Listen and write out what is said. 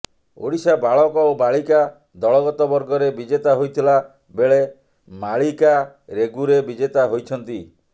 ଓଡ଼ିଶା ବାଳକ ଓ ବାଳିକା ଦଳଗତ ବର୍ଗରେ ବିଜେତା ହୋଇଥିଲା ବେଳେ ମାଳିକା ରେଗୁରେ ବିଜେତା ହୋଇଛନ୍ତି